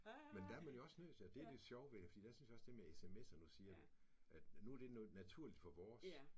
Men der er man jo også nødt til og det er det sjove ved det fordi der synes jeg også det med sms'er nu siger du at nu er det naturligt for vores